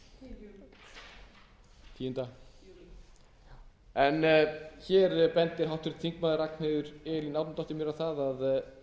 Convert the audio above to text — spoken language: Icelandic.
er það vel en hér bendir háttvirtur þingmaður ragnheiður elín árnadóttir mér á það að